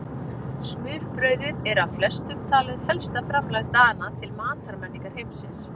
Smurbrauðið er af flestum talið helsta framlag Dana til matarmenningar heimsins.